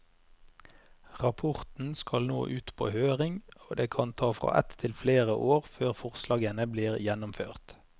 Rapporten skal nå ut på høring, og det kan ta fra ett til flere år før forslagene blir gjennomført.